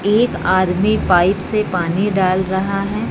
एक आदमी पाइप से पानी डाल रहा है।